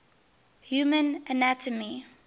human anatomy